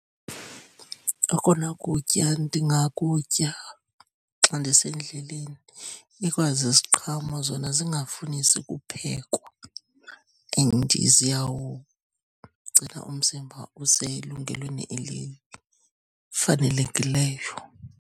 Okona kutya ndingakutya xa ndisendleleni ikwa ziziqhamo zona zingafunisi kuphekwa and ziyawugcina umzimba uselungelweni elifanelekileyo.